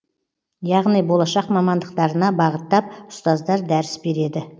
яғни болашақ мамандықтарына бағыттап ұстаздар дәріс береді